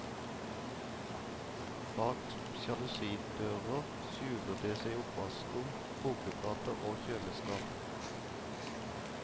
Bak sjalusidører skjuler det seg oppvaskkum, kokeplater og kjøleskap.